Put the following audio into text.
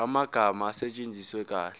amagama asetshenziswe kahle